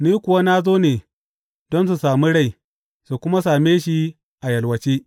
Ni kuwa na zo ne don su sami rai, su kuma same shi a yalwace.